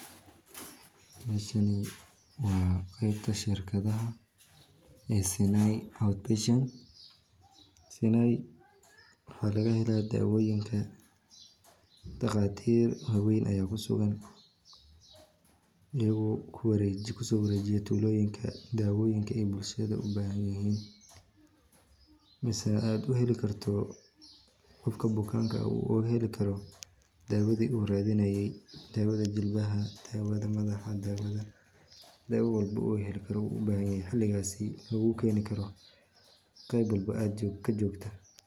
Meeshani waa qeebta shirkadaha ee sinai waxaa laga hela dawoyin daqatir ayaa kusugan ayaga oo lagu soo wareejiyo tulada mise qofka bukaanka uu heli karo dawada uu ubahan yahay loogu keeni karo qeebta uu joogo.